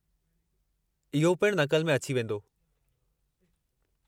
इहो पिण नक़ल में अची वेंदो।